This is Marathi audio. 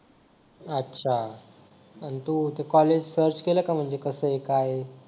अच्छा आणि तू तू कॉलेज सर्च केलं का म्हणजे कसं आहे काय आहे